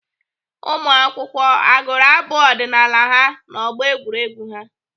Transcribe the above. Ụmụakwụkwọ agụrụ abụ ọdịnaala ha n'ọgbọ egwuregwu ha?